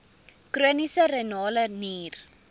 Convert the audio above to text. chroniese renale nier